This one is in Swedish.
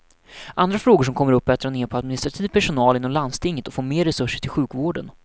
Andra frågor som kommer upp är att dra ner på administrativ personal inom landstinget och få mer resurser till sjukvården.